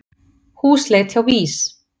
Húsleit hjá VÍS